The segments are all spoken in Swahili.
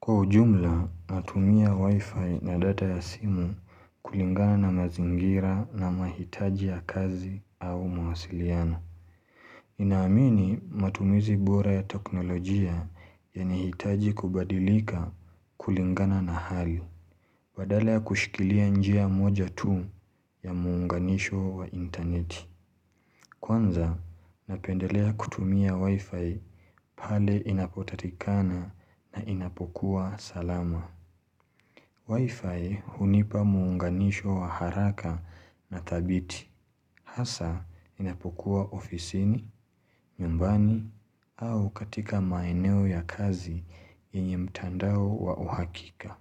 Kwa ujumla natumia wifi na data ya simu kulingana na mazingira na mahitaji ya kazi au mawasiliano Ninaamini matumizi bora ya teknolojia yanahitaji kubadilika kulingana na hali badala ya kushikilia njia moja tu ya muunganisho wa interneti Kwanza napendelea kutumia wifi pale inapopatikana na inapokua salama Wi-Fi hunipa muunganisho wa haraka na thabiti hasa inapokua ofisini, nyumbani au katika maeneo ya kazi yenye mtandao wa uhakika.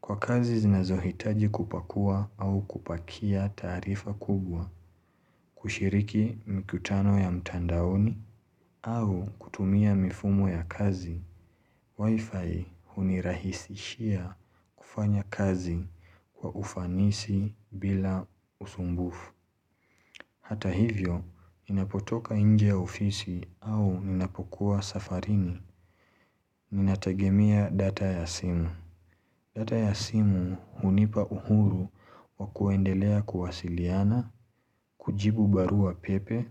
Kwa kazi zinazohitaji kupakua au kupakia taarifa kubwa kushiriki mikutano ya mtandaoni au kutumia mifumo ya kazi. Wi-Fi hunirahisishia kufanya kazi kwa ufanisi bila usumbufu. Hata hivyo, ninapotoka nje ya ofisi au ninapokuwa safarini, ninategemea data ya simu. Data ya simu hunipa uhuru wa kuendelea kuwasiliana, kujibu barua pepe,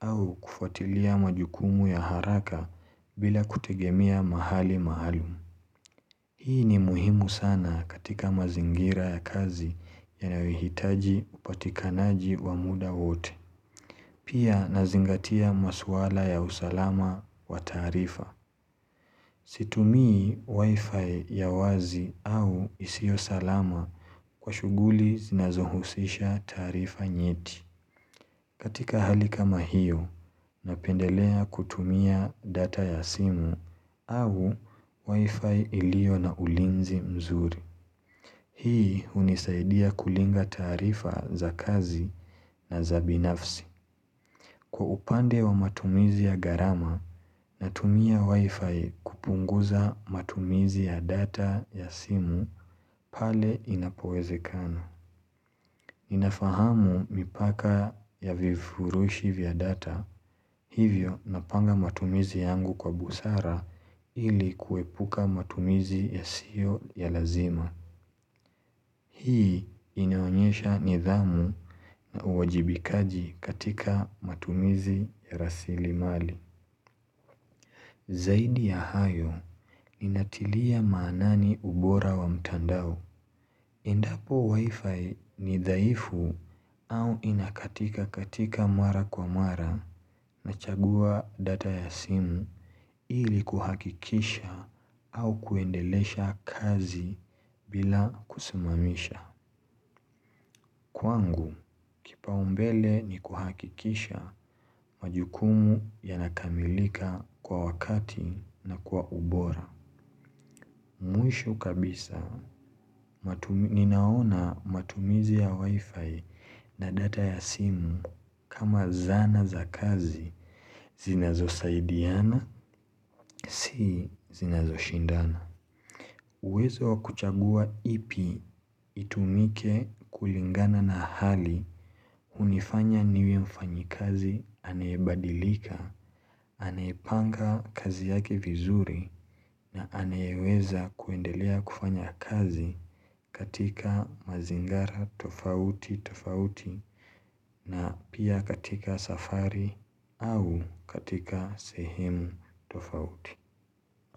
au kufuatilia majukumu ya haraka bila kutegemea mahali maalum. Hii ni muhimu sana katika mazingira ya kazi yanayohitaji upatikanaji wa muda wote. Pia nazingatia masuala ya usalama wa taarifa. Situmii wifi ya wazi au isio salama kwa shughuli zinazohusisha taarifa nyeti. Katika hali kama hiyo, napendelea kutumia data ya simu au wifi ilio na ulinzi mzuri. Hii hunisaidia kulinga taarifa za kazi na za binafsi. Kwa upande wa matumizi ya gharama, natumia wi-fi kupunguza matumizi ya data ya simu pale inapowezekana. Ninafahamu mipaka ya vivurushi vya data, hivyo napanga matumizi yangu kwa busara ili kuepuka matumizi yasio ya lazima. Hii inaonyesha nidhamu na uwajibikaji katika matumizi ya rasilimali Zaidi ya hayo ninatilia maanani ubora wa mtandao endapo wifi ni dhaifu au inakatika katika mara kwa mara Nachagua data ya simu ili kuhakikisha au kuendelesha kazi bila kusimamisha Kwangu, kipaumbele ni kuhakikisha majukumu yanakamilika kwa wakati na kwa ubora. Mwisho kabisa, ninaona matumizi ya wifi na data ya simu kama zana za kazi zinazosaidiana, si zinazoshindana. Uwezo wa kuchagua ipi itumike kulingana na hali hunifanya niwe mfanyikazi anayebadilika Anaipanga kazi yake vizuri na anayeweza kuendelea kufanya kazi katika mazingara tofauti tofauti na pia katika safari au katika sehemu tofauti.